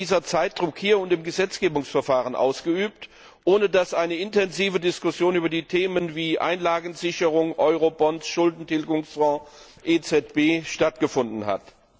Warum wird dieser Zeitdruck hier und im Gesetzgebungsverfahren ausgeübt, ohne dass eine intensive Diskussion über Themen wie Einlagensicherung, Eurobonds, Schuldentilgungsfonds oder EZB stattgefunden hat?